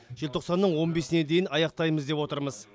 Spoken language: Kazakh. желтоқсанның он бесіне дейін аяқтаймыз деп отырмыз